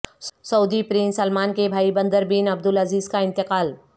سعودی prince Salman کے بھائی Bandar bin Abdulaziz کا انتقال